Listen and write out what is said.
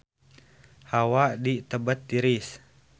Hawa di Tibet tiris